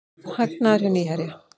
Hagnaður hjá Nýherja